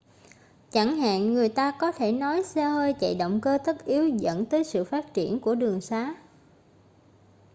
chẳng hạn người ta có thể nói xe hơi chạy động cơ tất yếu dẫn tới sự phát triển của đường xá